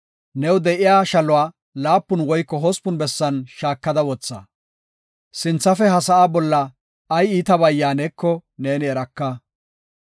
New de7iya shaluwa laapun woyko hospun bessan shaakada wotha. Sinthafe ha sa7aa bolla ay iitabay yaaneko neeni eraka.